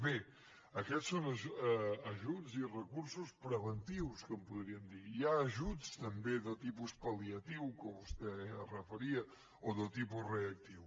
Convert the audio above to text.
bé aquests són ajuts i recursos preventius que en podríem dir hi ha ajuts també de tipus pal·liatiu que vostè s’hi referia o de tipus reactiu